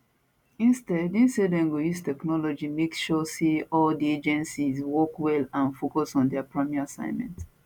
instead im say dem go use technology make sure say all di agencies work well and focus on dia primary assignment